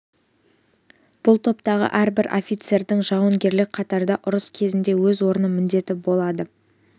бұл топтағы әрбір офицердің жауынгерлік қатарда ұрыс кезінде өз орны міндеті болады